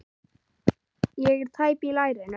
Ég er tæp í lærinu.